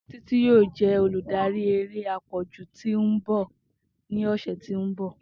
Titi yoo jẹ oludari ere apọju ti n bọ ni ọsẹ ti n bọ.